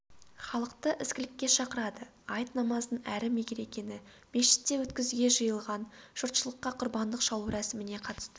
халықты ізгілікке шақырады айт намазын әрі мерекені мешітте өткізуге жиылған жұртшылыққа құрбандық шалу рәсіміне қатысты